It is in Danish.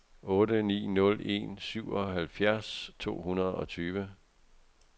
otte ni nul en syvoghalvfjerds to hundrede og tyve